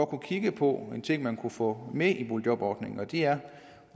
kigge på en ting man kunne få med i boligjobordningen og det er